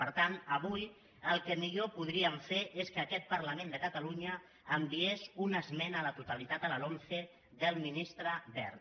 per tant avui el que millor podríem fer és que aquest parlament de catalunya enviés una esmena a la totalitat a la lomce del ministre wert